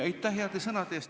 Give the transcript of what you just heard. Aitäh heade sõnade eest!